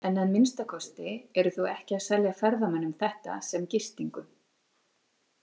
En að minnsta kosti eru þau ekki selja ferðamönnum þetta sem gistingu.